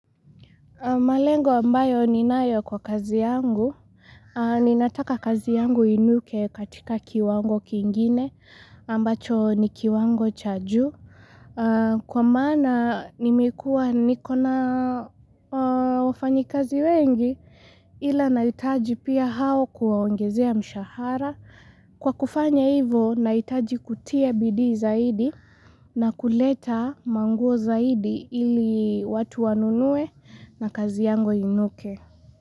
Malengo ambayo ni nayo kwa kazi yangu, ninataka kazi yangu inuke katika kiwango kingine, ambacho ni kiwango cha ju Kwa mana nimekua nikona wafanyi kazi wengi, ila naitaji pia hao kuwaongezea mshahara. Kwa kufanya hivo, naitaji kutia bidii zaidi na kuleta manguo zaidi ili watu wanunue na kazi yango inuke.